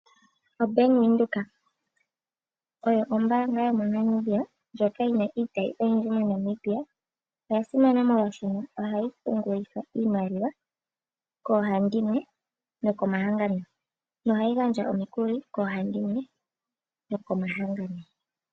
OBank Windhoek oyo ombaanga yomo Namibia ndjoka yina iitayi oyindji moNamibia. Oya simana molwaaasho ohayi pungulithwa iimaliwa koohandimwe noko mahangano nohayi gandja omikuli koohandimwe noko mahangano.